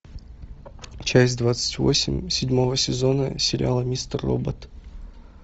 часть двадцать восемь седьмого сезона сериала мистер робот